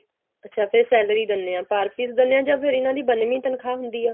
ਅੱਛਾ ਫਿਰ salary ਦਿੰਨੇ ਆ per piece ਦਿੰਨੇ ਆਂ ਜਾਂ ਫਿਰ ਇਹਨਾ ਦੀ ਬੰਨਵੀੰ ਤਨਖਾਹ ਹੁੰਦੀ ਆ